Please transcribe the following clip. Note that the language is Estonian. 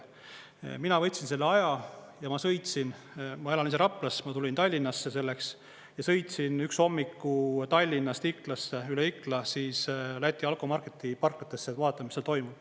Mina võtsin selle aja ja ma sõitsin, ma elan ise Raplas, ma tulin Tallinnasse selleks, ja sõitsin üks hommiku Tallinnast Iklasse, üle Ikla Läti alkomarketi parklatesse vaatama, mis seal toimub.